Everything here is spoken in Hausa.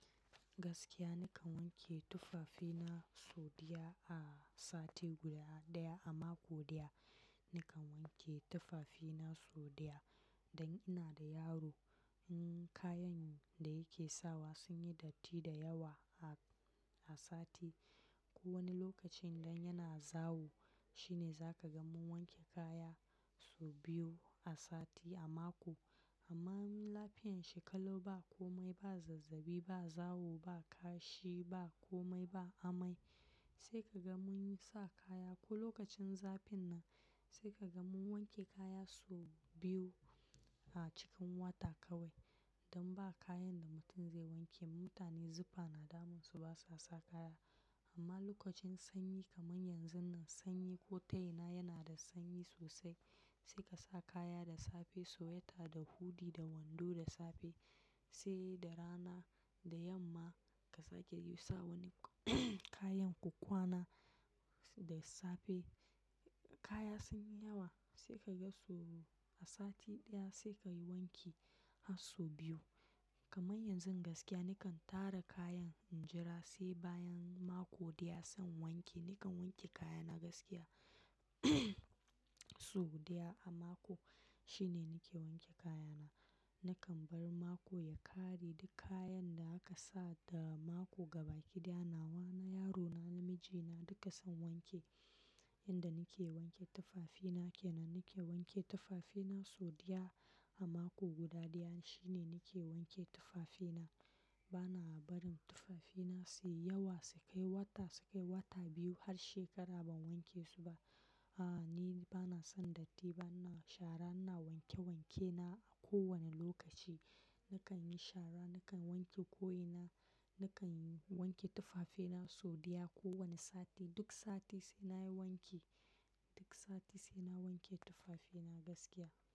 Gaskiya nakan wanke tufafina sau ɗaya a sati guda ɗaya a mako ɗaya. Nakan wanke tufafina sau ɗaya, dan ina da yaro. Kayan da yake sawa sun yi datti da yawa a sati. Ko wani lokacin idan yana zawo shine za ka ga mun wanke kaya sau biyu a sati a mako. Amma lafiyan shi ƙalau ba komai, ba zazzaɓi, ba zawo, ba kashi, ba komai, ba amai sai ka ga mun sa kaya. Ko lokacin zafin nan sai ka ga mun wanke kaya sau biyu a cikin wata kawai. Dan ba kayan da mutum zai wanke. Mutane zufa na damun su basa sa kaya. Amma lokacin sanyi kaman yanzun nan sanyi, ko ta ina yana da sanyi sosai. Sai ka sa kaya da safe, sweater da hoodie da wando da safe. Sai da rana, da yamma ka sake yi sa wani kayan ka kwana da safe. Kaya sun yi yawa sai ka ga su a sati ɗaya sai ka yi wanki har sau biyu. Kaman yanzu gaskiya nakan tara kayan in jira sai bayan mako ɗaya zan wanke. Nakan wanke kaya na gaskiya sau ɗaya a mako shine nake wanke kayana. Nakan bar mako ya ƙare duk kayan da aka sa da mako ga baki ɗaya na. Wani yarona namijina duka zan wanke. Inda nake wanke tufafina kenan nake wanke tufafina sau ɗaya a mako guda ɗaya shine nake wanke tufafina. Bana barin tufafina su yi yawa, su kai wata, su kai wata biyu har shekara ban wanke su ba. A'a, ni bana son datti, bana shara. Ina wanke wankena a kowane lokaci. Nakan yi shara, nakan wanke ko'inina, nakan wanke tufafina sau ɗaya kowane sati. Duk sati sai nayi wanki. Duk sati sai na wanke tufafina gaskiya.